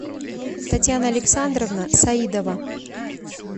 татьяна александровна саидова